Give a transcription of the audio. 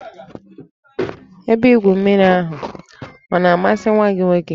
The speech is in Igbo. Ebe igwu mmiri ahụ ọ masịrị nwa gị nwoke?